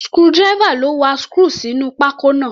Screwdriver ló wa screw sínú pákó náà.